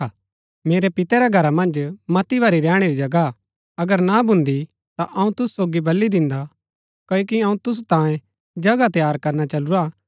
मेरै पिते रै घरा मन्ज मती भारी रैहणी री जगह हा अगर ना भूंदी ता अऊँ तूसु सोगी बली दिन्दा क्ओकि अऊँ तूसु तांयें जगह तैयार करना चलूरा हा